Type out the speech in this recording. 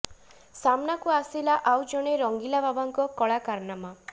ସାମ୍ନାକୁ ଆସିଲା ଆଉ ଜଣେ ରଙ୍ଗିଲା ବାବାଙ୍କ କଳା କାରନାମା